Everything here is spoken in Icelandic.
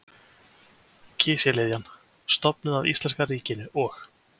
Kísiliðjan stofnuð af íslenska ríkinu og